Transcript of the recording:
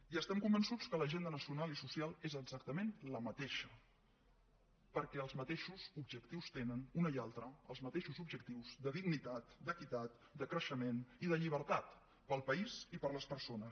i estem convençuts que l’agenda nacional i social és exactament la mateixa perquè els mateixos objectius tenen una i altra de dignitat d’equitat de creixement i de llibertat per al país i per a les persones